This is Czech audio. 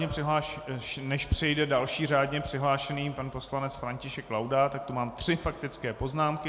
Než přijde další řádně přihlášený pan poslanec František Laudát, tak tu mám tři faktické poznámky.